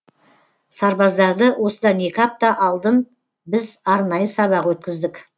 сарбаздарды осыдан екі апта алдын біз арнайы сабақ өткіздік